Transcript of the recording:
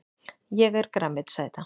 Ég er grænmetisæta!